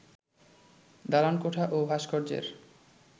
দালানকোঠা ও ভাষ্কর্যের